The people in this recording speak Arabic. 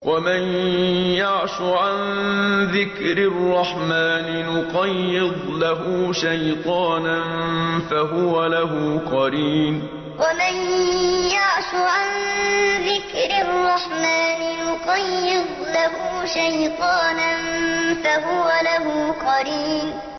وَمَن يَعْشُ عَن ذِكْرِ الرَّحْمَٰنِ نُقَيِّضْ لَهُ شَيْطَانًا فَهُوَ لَهُ قَرِينٌ وَمَن يَعْشُ عَن ذِكْرِ الرَّحْمَٰنِ نُقَيِّضْ لَهُ شَيْطَانًا فَهُوَ لَهُ قَرِينٌ